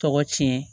Tɔgɔ tiɲɛ